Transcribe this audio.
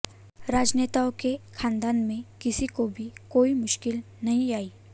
राजनेताओं के खानदान में किसी को भी कोई मुश्किल नहीं आई